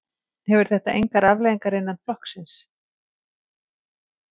Hefur þetta engar afleiðingar innan flokksins?